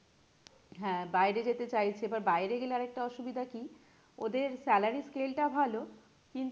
হ্যাঁ বাইরে যেতে চাইছে এবার বাইরে গেলে আর একটা অসুবিধা কি? ওদের salary scale টা ভালো কিন্তু